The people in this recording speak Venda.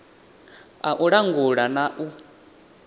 a u langula na u